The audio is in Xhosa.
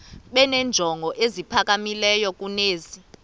benenjongo eziphakamileyo kunezi